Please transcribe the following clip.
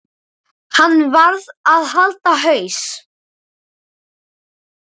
Hann varð að halda haus.